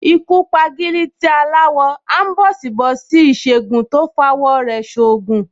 Ikú p’agílítí aláwọ, áḿbọ̀sìbọ̀sí Ìsègùn tó f’awọ̀ rẹ̀ ṣ’oògùn